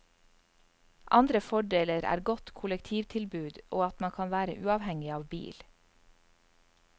Andre fordeler er godt kollektivtilbud og at man kan være uavhengig av bil.